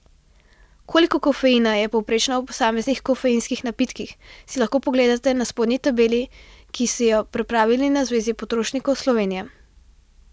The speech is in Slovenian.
Koliko kofeina je povprečno v posameznih kofeinskih napitkih, si lahko pogledate na spodnji tabeli, ki so jo pripravili na Zvezi potrošnikov Slovenije.